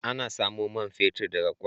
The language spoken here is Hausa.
Ana samun man fetur daga kwal.